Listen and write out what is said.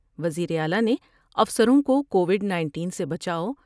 وزیر اعلی نے افسروں کوکووڈ 19 سے بچاؤ ۔